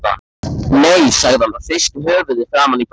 Nei, sagði hann og hristi höfuðið framan í börnin.